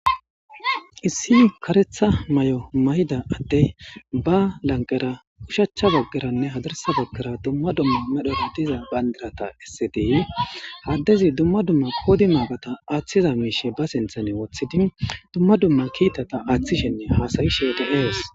Issi karetha may7o mayida adte ba lanqera ushachcha baggeranne hadarsa baggera dumma dumma medhora diza bandirata essetie haddezi dumma dumma koodi maagata aaththiza miishe ba sinthane wothidi dumma dumma kiitata aaththishenne haasayi sheete ewes